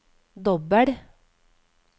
dobbel